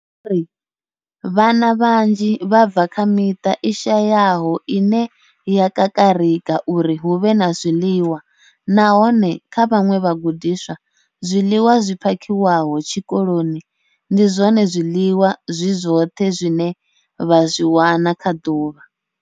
Vho ri, Vhana vhanzhi vha bva kha miṱa i shayaho ine ya kakarika uri hu vhe na zwiḽiwa, nahone kha vhaṅwe vhagudiswa, zwiḽiwa zwi phakhiwaho tshikoloni ndi zwone zwiḽiwa zwi zwoṱhe zwine vha zwi wana kha ḓuvha.